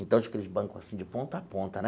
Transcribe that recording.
Então, tinha aqueles bancos assim de ponta a ponta, né?